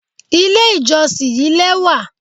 Ilé ìjọsìn yí lẹ́wà.